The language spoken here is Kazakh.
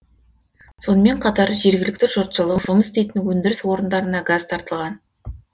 сонымен қатар жергілікті жұртшылық жұмыс істейтін өндіріс орындарына газ тартылған